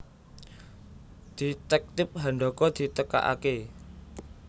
Detektip Handaka ditekakaké